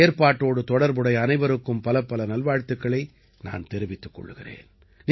இந்த ஏற்பாட்டோடு தொடர்புடைய அனைவருக்கும் பலப்பல நல்வாழ்த்துக்களை நான் தெரிவித்துக் கொள்கிறேன்